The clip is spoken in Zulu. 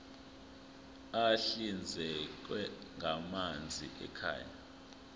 ahlinzekwa ngamanzi ekhaya